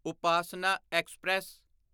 Upasana express